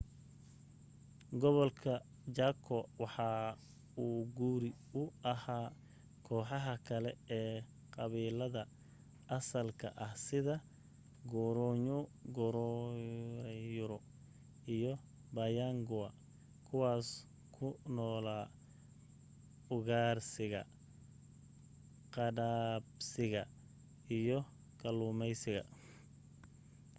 gobolka chaco waxa uu guri u ahaa kooxaha kale ee qabiilada asalka ah sida guaycurú iyo payaguá kuwaas ku noolaa ugaarsiga qadhaabsiga iyo kalluumaysiga